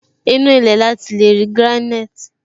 Inú ilé ní ati leri granite